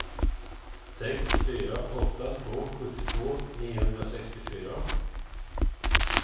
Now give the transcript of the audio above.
sex fyra åtta två sjuttiotvå niohundrasextiofyra